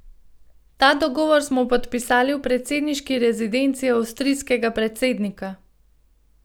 Ta dogovor smo podpisali v predsedniški rezidenci avstrijskega predsednika.